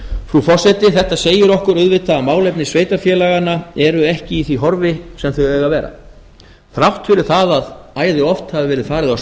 frú forseti þetta segir okkur auðvitað að málefni sveitarfélaganna eru ekki í því horfi sem þau eiga að vera þrátt fyrir að æði oft hafi verið farið af